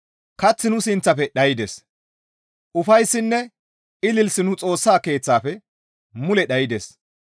Kaththi nu sinththafe dhaydes; ufayssinne ilisi nu Xoossa Keeththafe mule dhaydes.